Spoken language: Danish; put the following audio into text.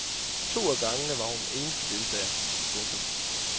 To af gangene var hun eneste deltager. punktum